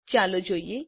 ચાલો જોઈએ